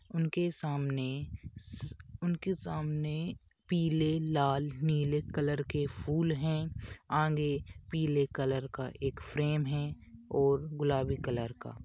उनके सामने स उनके सामने पीले लाल नीले कलर के फूल हैं| आगे पीले कलर का एक फ्रेम है और गुलाबी कलर का।